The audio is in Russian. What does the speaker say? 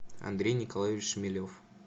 андрей николаевич шмелев